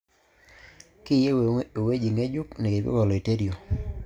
Kiyieu ewueji ng'ejuk nekipik oloiterio